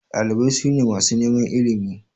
Ɗalibai su ne masu neman ilimi.